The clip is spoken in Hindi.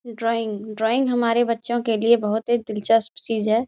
ड्राइंग ड्राइंग हमारे बच्चों के लिए बहुत ही दिलचस्प चीज है।